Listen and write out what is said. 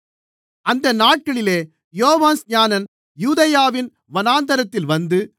அந்த நாட்களிலே யோவான்ஸ்நானன் யூதேயாவின் வனாந்திரத்தில் வந்து